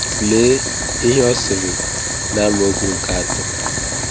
Lee ihe ọ sịrị na amaokwu nke atọ.